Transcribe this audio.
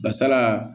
Basala